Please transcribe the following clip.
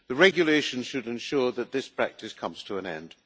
The regulation should ensure that this practice comes to an end.